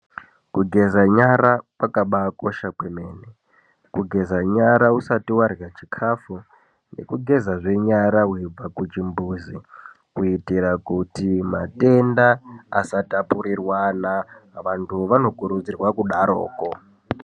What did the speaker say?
Kugeza nyara kakabakosha kwemene kugeza nyara usati varya chikafu nekugezazve nyara veibva kuchimbuzi. Kuitira kuti matenda asatapurirwana vantu vanokurudzirwa kudaroko.